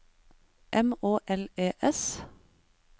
M Å L E S